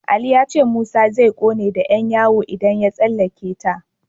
Ali ya ce Musa zai ƙone da Yan yawo idan ya tsallaka ta.